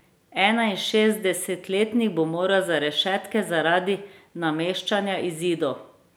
Enainšestdesetletnik bo moral za rešetke zaradi nameščanja izidov.